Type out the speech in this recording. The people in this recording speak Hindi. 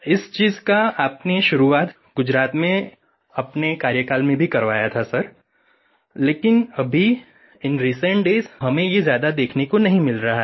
इस चीज़ का आपने शुरुआत गुजरात में अपने कार्यकाल में भी करवाया था सर लेकिन अभी इन रिसेंट डेज हमें ये ज़्यादा देखने को नहीं मिल रहा है